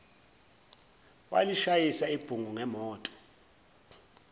walishayisa ibhungu ngemoto